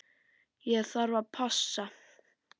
Ég þarf að passa.